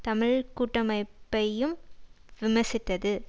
தமிழ் கூட்டமைப்பையும் விமர்சித்தது